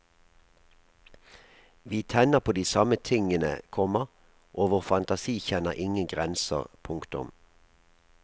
Vi tenner på de samme tingene, komma og vår fantasi kjenner ingen grenser. punktum